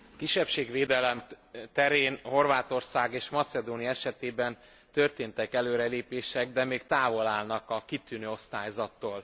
Kisebbségvédelem terén Horvátország és Macedónia esetében történtek előrelépések, de még távol állnak a kitűnő osztályzattól.